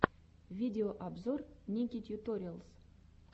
видеообзор ники тьюториалс